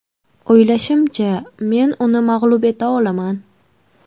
O‘ylashimcha, men uni mag‘lub eta olaman.